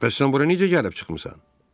Bəs sən bura necə gəlib çıxmısan?